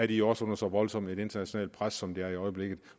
de også under så voldsomt et internationalt pres som de er i øjeblikket